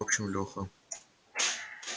в общем лёха